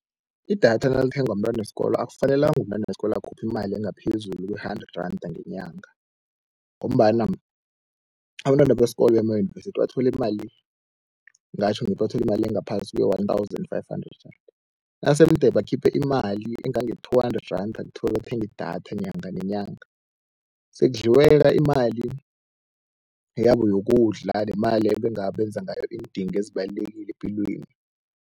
Idatha nalithengwa mntwana wesikolo akufanelanga umntwana wesikolo, akhuphe imali engaphezulu kwe-hundred randa ngenyanga, ngombana abentwana besikolo bemayunivesithi bathola imali, ngingatjho ngithi bathola imali engaphasi kwe-one-thousand-five-hundred randa. Nase mde bakhiphe imali engange-two hundred randa, kuthiwa bathenga idatha nyanga nenyanga sekudliweka imali yabo yokudla nemali ebengabe benza ngayo iindingo ezibalulekile epilweni.